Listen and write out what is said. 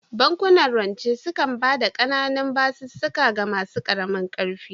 Bankunan rance sukan ba da ƙananun basussuka ga masu ƙaramin ƙarfi